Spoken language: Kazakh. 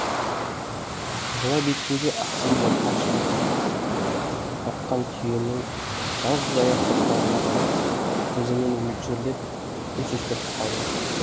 құбыла беттегі ақсиып жатқан шығыр тартқан түйенің жалғыз аяқ соқпағына қарап көзімен мөлшерлеп үнсіз тұрып қалды